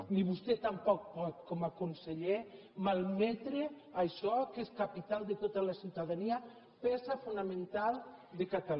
ni vostè tampoc pot com a conseller malmetre això que és capital de tota la ciutadania peça fonamental de catalunya